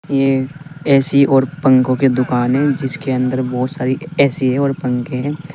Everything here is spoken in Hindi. ये ए_सी और पंखों की दुकान है जिस के अंदर बहुत सारी ए_सी और पंखे हैं।